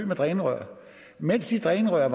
med drænrør mens de drænrør